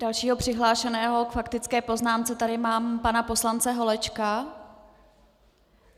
Dalšího přihlášeného k faktické poznámce tady mám pana poslance Holečka...